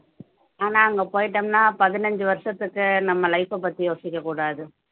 ஆனா அங்க போயிட்டோம்ன்னா பதினஞ்சு வருஷத்துக்கு நம்ம life அ பத்தி யோசிக்கக்கூடாது